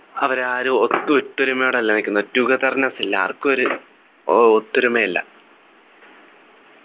അവരാരും ഒട്ടും ഒത്തൊരുമയോടെ അല്ല നിക്കുന്നെ togetherness ഇല്ല ആർക്കും ഒരു ഓ ഒത്തൊരുമയില്ല